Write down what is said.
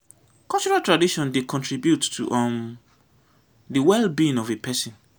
cultural tradition dey contribute to um di wellbeing of a person